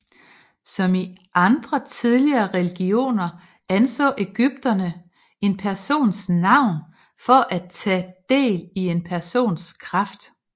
Som i andre tidligere religioner anså ægypterne en persons navn for at tage del i en persons kraft